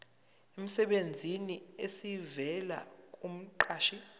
emsebenzini esivela kumqashi